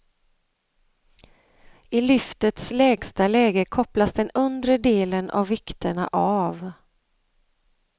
I lyftets lägsta läge kopplas den undre delen av vikterna av.